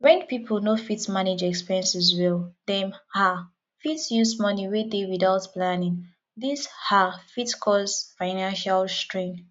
when pipo no fit manage expenses well dem um fit use money wey dey without planning this um fit cause financial strain